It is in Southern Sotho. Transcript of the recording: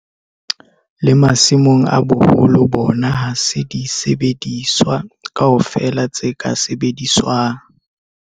Le masimong a boholo bona ha se disebediswa kaofela tse ka sebediswang.